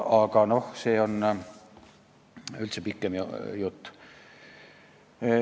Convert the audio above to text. Aga see on üldse pikem jutt.